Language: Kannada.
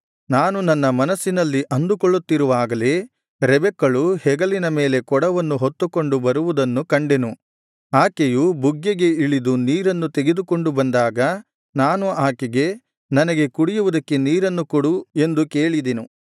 ನಾನು ನನ್ನ ಮನಸ್ಸಿನಲ್ಲಿ ಅಂದುಕೊಳ್ಳುತ್ತಿರುವಾಗಲೇ ರೆಬೆಕ್ಕಳು ಹೆಗಲಿನ ಮೇಲೆ ಕೊಡವನ್ನು ಹೊತ್ತುಕೊಂಡು ಬರುವುದನ್ನು ಕಂಡೆನು ಆಕೆಯು ಬುಗ್ಗೆಗೆ ಇಳಿದು ನೀರನ್ನು ತೆಗೆದುಕೊಂಡು ಬಂದಾಗ ನಾನು ಆಕೆಗೆ ನನಗೆ ಕುಡಿಯುವುದಕ್ಕೆ ನೀರನ್ನು ಕೊಡು ಎಂದು ಕೇಳಿದೆನು